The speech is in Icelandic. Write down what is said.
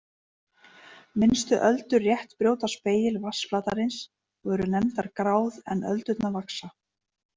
Minnstu öldur rétt brjóta spegil vatnsflatarins og eru nefndar gráð en öldurnar vaxa.